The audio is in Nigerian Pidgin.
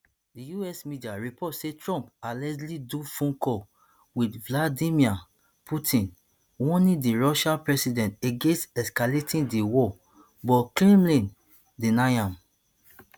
di us media report say trump allegedly do phone call wit vladimir putin warning di russian president against escalating di war but kremlin deny am